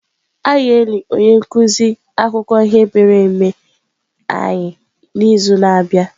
A ga-eli onye nkuzi akụkọ ihe mere eme anyị n'izu na-abịa.